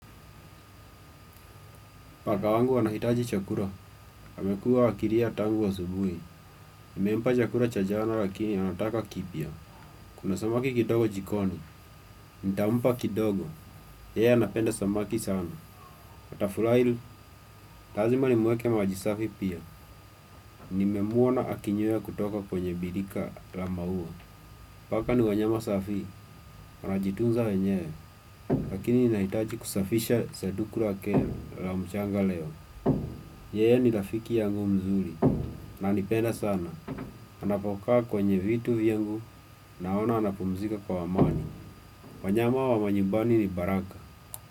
Paka wangu anahitaji chakula, amekuwa akilia tangu asubuhi. Nimempa chakula cha jana lakini anataka kipya. Kuna samaki kidogo jikoni, nitampa kidogo. Yeye anapenda samaki sana. Atafurahi, lazima nimweke maji safi pia. Nimemwona akinywea kutoka kwenye birika la mauwa. Paka ni wanyama safi, wanajitunza wenyewe. Lakini ninahitaji kusafisha sanduku lake la mchanga leo. Yeye ni rafiki yangu mzuri. Ananipenda sana, anapokaa kwenye vitu vyangu naona anapumzika kwa amani. Wanyama wa manyumbani ni baraka.